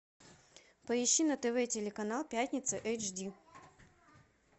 поищи на тв телеканал пятница эйч ди